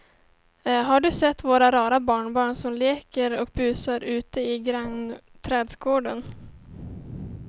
Har du sett våra rara barnbarn som leker och busar ute i grannträdgården!